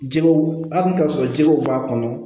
Jɛgɛw a bɛ taa sɔrɔ jɛgɛw b'a kɔnɔ